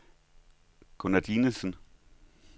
Gunner Dinesen